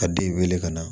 Ka den wele ka na